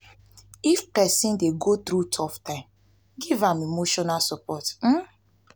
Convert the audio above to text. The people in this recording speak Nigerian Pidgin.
if pesin dey go thru tough time giv am emotional support um.